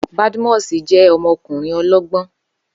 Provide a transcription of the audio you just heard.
Badmus jẹ́ ọmọkùnrin ọlọ́gbọ́n